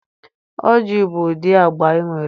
Oji bụ ụdị agba e nwere.